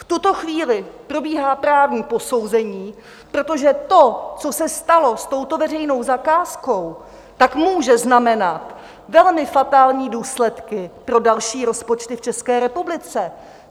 V tuto chvíli probíhá právní posouzení, protože to, co se stalo s touto veřejnou zakázkou, tak může znamenat velmi fatální důsledky pro další rozpočty v České republice.